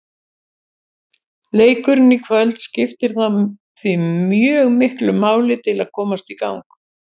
Leikurinn í kvöld skiptir þá því mjög miklu máli til að komast í gang.